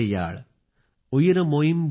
इवळ सेप्पु मोळी पधिनेट्टूडैयाळ